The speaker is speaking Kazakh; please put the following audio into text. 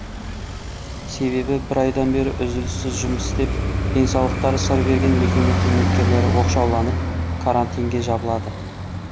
себебі бір айдан бері үзіліссіз жұмыс істеп денсаулықтары сыр берген мекеме қызметкерлері оқшауланып карантинге жабылады